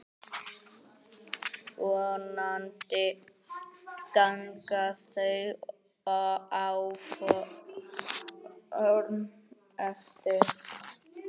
Vonandi ganga þau áform eftir.